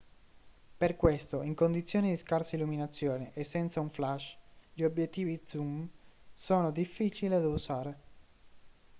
per questo in condizioni di scarsa illuminazione e senza un flash gli obiettivi zoom sono difficili da usare